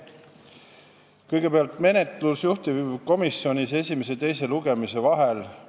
Kõigepealt menetlusest juhtivkomisjonis esimese ja teise lugemise vahel.